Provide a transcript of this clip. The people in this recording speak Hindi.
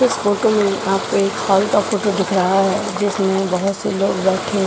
इस फोटो में आपको एक हॉल का फोटो दिख रहा है जिसमें बहुत से लोग बैठे --